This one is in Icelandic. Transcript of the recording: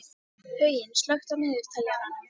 Huginn, slökktu á niðurteljaranum.